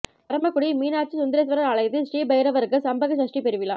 பரமக்குடி மீனாட்சி சுந்தரேசுவரா் ஆலயத்தில் ஸ்ரீ பைரவருக்கு சம்பக சஷ்டி பெருவிழா